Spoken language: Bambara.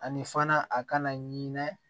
Ani fana a kana ɲinɛ